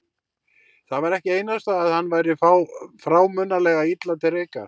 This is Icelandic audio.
Það var ekki einasta að hann væri frámunalega illa til reika.